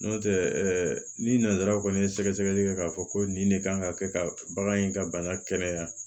N'o tɛ ni nansaraw kɔni ye sɛgɛsɛgɛli kɛ k'a fɔ ko nin de kan ka kɛ ka bagan in ka bana kɛnɛya